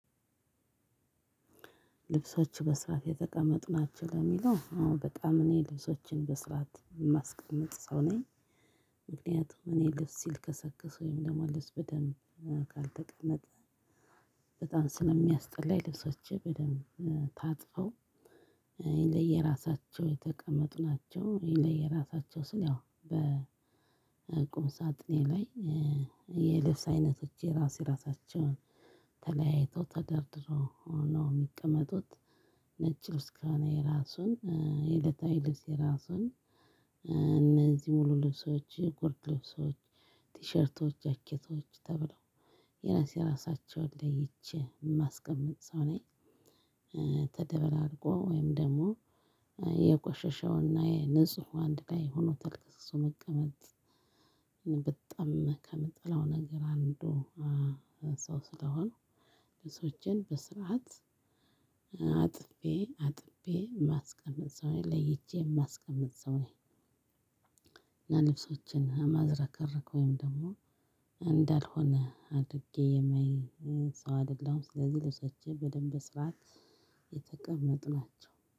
ልብሶች በስርዓት የተቀመጡ ናቸው ለሚለው አዎ በጣም እኔ ልብሶችን በስርዓት የማስቀመጥ ሰው ነኝ። ምክንያቱም እኔ ልብስ ሲልከሰከስ ወይም ልብስ በደንብ ካልተቀመጠ። በጣም ስለሚያስጠላኝ ልብሶቼ በደንብ ታጥፈው ለየራሳቸው የተቀመጡ ናቸው። ለየራሳቸው ስል ያው በቁምሳጥኔ ላይ የልብስ አይነቶች የራስ የራሳቸውን ተለያይተው ተደርድሮ ነው የሚቀመጡት። ነጭ ልብስ ከእኔ እራሱን የእለታዊ ልብስ የራሱን እነዚህ ሙሉ ልብሶች ጎርድ ልብሶች ቲሸርቶች ጃኬቶች ተብለው የራስ የራሳቸውን ለይቼ የማስቀመጥ ሰው ነኝ። ተደበላልቆ ወይም ደግሞ የቆሻሻውና የንፁህ አንድ ላይ ሆኖ ተገበስብሶ መቀመጥ ከምጠላው ነገር አንዱ። እሱ ስለሆነ ልብሶቼን በስርዓት አጥቤ አጥቤ የማስቀምጥ ሰው ለይቼ የማስቀምጥ ሰው ነኝ። እና ልብሶቼን አማዝረክረክ ወይም ደግሞ እንዳልሆነ አድርጌ የማይ ሰው አይደለሁም። ስለዚህ ልብሰቼ በደንብ ስርዓት የተቀመጡ ናቸው